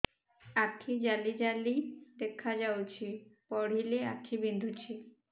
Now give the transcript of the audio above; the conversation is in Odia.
ଆଖି ଜାଲି ଜାଲି ଦେଖାଯାଉଛି ପଢିଲେ ଆଖି ବିନ୍ଧୁଛି